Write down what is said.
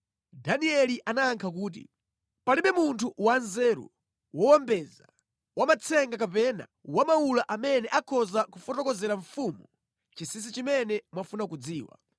Danieli anayankha kuti, “Palibe munthu wanzeru, wowombeza, wamatsenga kapena wamawula amene akhoza kufotokozera mfumu chinsinsi chimene mwafuna kudziwa,